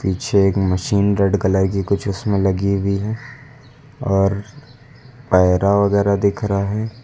पीछे एक machine red colour की कुछ उसमें लगी हुई है और पैरा वगैरा दिख रहा है।